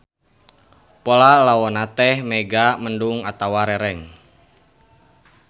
Pola lawonna teh mega mendung atawa rereng.